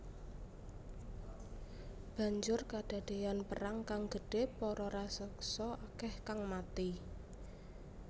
Banjur kadadéyan perang kang gedhé para raseksa akèh kang mati